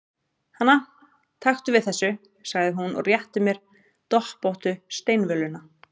Hana, taktu við þessu, sagði hún og rétti mér doppóttu steinvöluna.